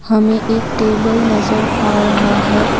हमें एक टेबल नजर आ रहा है।